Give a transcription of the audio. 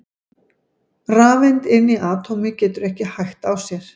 rafeind inni í atómi getur ekki hægt á sér!